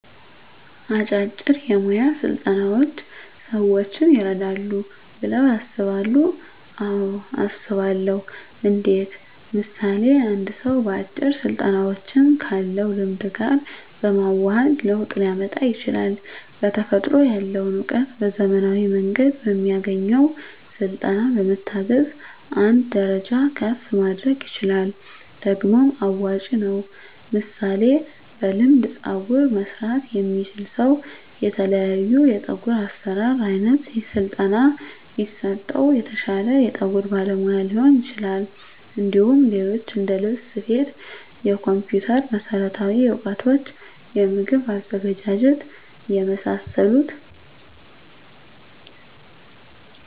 አጫጭር የሞያ ስልጠናዎች ሰዎችን ይረዳሉ ብለው ያስባሉ አዎ አስባለሁ እንዴት ምሳሌ አንድ ሰው አጭር ስልጠናዎችን ካለው ልምድ ጋር በማዋሀድ ለውጥ ሊያመጣ ይችላል በተፈጥሮ ያለውን እውቀት በዘመናዊ መንገድ በሚያገኘው ስልጠና በመታገዝ አንድ ደረጃ ከፍ ማድረግ ይችላል ደግሞም አዋጭ ነው ምሳሌ በልምድ ፀጉር መስራት የሚችል ሰው የተለያዮ የፀጉር አሰራር አይነት በስለጠና ቢሰጠው የተሻለ የፀጉር ባለሙያ ሊሆን ይችላል እንዲሁም ሌሎች እንደልብስ ስፌት የኮምፒተር መሠረታዊ እውቀቶች የምግብ ዝግጅት የመሳሰሉት